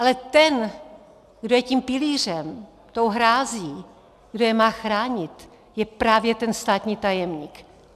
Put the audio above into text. Ale ten, kdo je tím pilířem, tou hrází, kdo je má chránit, je právě ten státní tajemník.